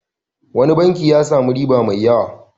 Wani banki ya sami riba mai yawa.